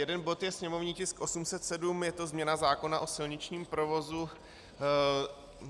Jeden bod je sněmovní tisk 807, je to změna zákona o silničním provozu.